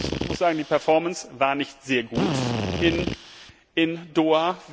Ich muss sagen, die Performance war nicht sehr gut in Doha.